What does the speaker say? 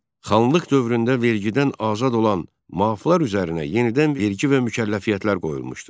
Xanlıq dövründə vergiddən azad olan maflar üzərinə yenidən vergi və mükəlləfiyyətlər qoyulmuşdu.